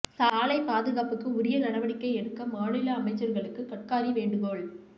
சாலை பாதுகாப்புக்கு உரிய நடவடிக்கை எடுக்க மாநில அமைச்சர்களுக்கு கட்காரி வேண்டுகோள்